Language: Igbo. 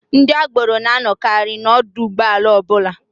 Ndị agboro na-anọkarị n'ọdụ ụgbọala ọbụla.